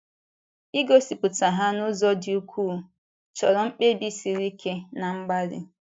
Igosipụta ha n’ụzọ dị ukwuu, chọrọ mkpebi siri ike na mgbalị.